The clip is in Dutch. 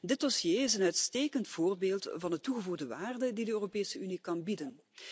Dit dossier is een uitstekend voorbeeld van de toegevoegde waarde die de Europese Unie kan bieden.